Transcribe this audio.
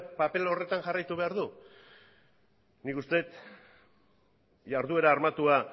paper horretan jarraitu behar du nik uste dut jarduera armatua